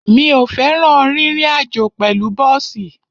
Mi ò fẹ́ràn rírin àjó pẹ̀lú bọ́ọ̀sì.